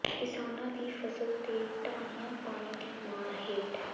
ਕਿਸਾਨਾਂ ਦੀ ਫਸਲ ਤੇ ਢਾਣੀਆਂ ਪਾਣੀ ਦੀ ਮਾਰ ਹੇਠ